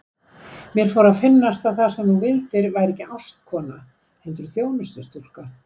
Mér fór að finnast að það sem þú vildir væri ekki ástkona heldur þjónustustúlka.